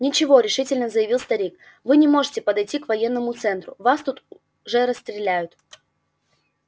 ничего решительно заявил старик вы не можете подойти к военному центру вас тут же расстреляют